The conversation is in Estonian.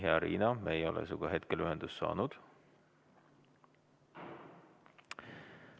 Hea Riina, me ei ole sinuga hetkel ühendust saanud.